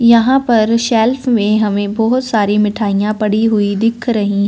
यहां पर शेल्फ में हमें बहोत सारी मिठाइयां पड़ी हुई दिख रही--